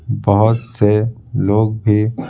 बहुत से लोग भी--